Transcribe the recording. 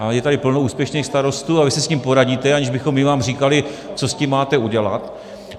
A je tady plno úspěšných starostů a vy si s tím poradíte, aniž bychom my vám říkali, co s tím máte udělat.